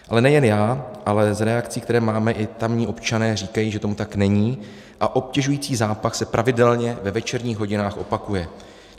Ale nejen já, ale z reakcí, které máme, i tamní občané říkají, že tomu tak není a obtěžující zápach se pravidelně ve večerních hodinách opakuje.